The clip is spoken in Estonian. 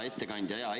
Hea ettekandja!